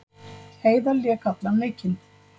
Heiðar lék allan leikinn